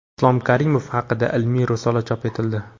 Islom Karimov haqida ilmiy risola chop etildi.